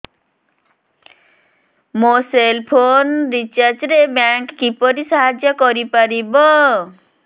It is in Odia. ମୋ ସେଲ୍ ଫୋନ୍ ରିଚାର୍ଜ ରେ ବ୍ୟାଙ୍କ୍ କିପରି ସାହାଯ୍ୟ କରିପାରିବ